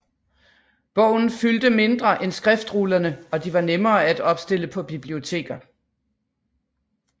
Bogen fyldte mindre end skriftrullerne og de var nemmere at opstille på biblioteker